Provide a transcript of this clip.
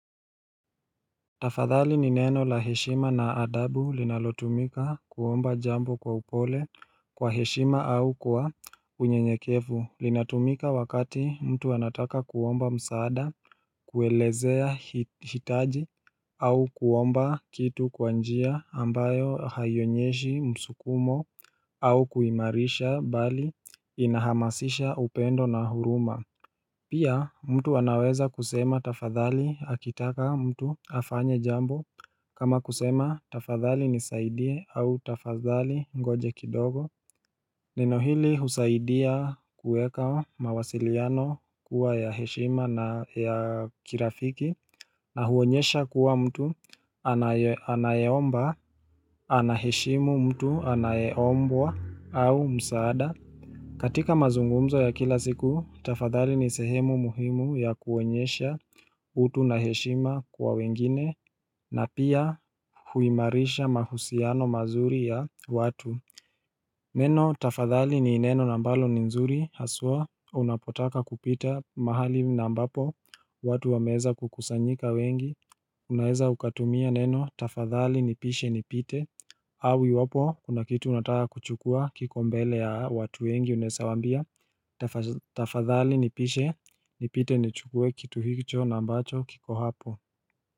Tafadhali ni neno la heshima na adabu linalotumika kuomba jambo kwa upole kwa heshima au kwa unyenyekevu linatumika wakati mtu anataka kuomba msaada kuelezea hitaji au kuomba kitu kwa njia ambayo hayionyeshi msukumo au kuimarisha bali inahamasisha upendo na huruma Pia mtu anaweza kusema tafadhali akitaka mtu afanye jambo kama kusema tafadhali nisaidie au tafadhali ngoja kidogo Neno hili husaidia kuweka mawasiliano kuwa ya heshima na ya kirafiki na huonyesha kuwa mtu anayeomba anaheshimu mtu anayeombwa au msaada katika mazungumzo ya kila siku, tafadhali ni sehemu muhimu ya kuoenyesha utu na heshima kwa wengine, na pia huimarisha mahusiano mazuri ya watu. Neno, tafadhali ni ineno na mbalo ni nzuri, haswa unapotaka kupita mahali na ambapo, watu wameweza kukusanyika wengi, unaeza ukatumia neno, tafadhali nipishe ni pite, au iwapo, kuna kitu unataka kuchukua kiko mbele ya watu wengi unesa wambia Tafadhali nipishe, nipite nichukuwe kitu hicho na ambacho kiko hapo.